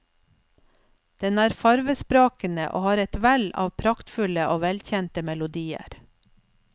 Den er fargesprakende og har et vell av praktfulle og velkjente melodier.